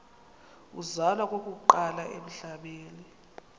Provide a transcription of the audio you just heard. uzalwa okokuqala emhlabeni